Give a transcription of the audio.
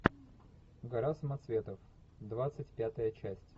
гора самоцветов двадцать пятая часть